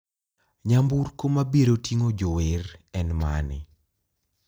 Nyamburko mabirotinng`o jower en mane?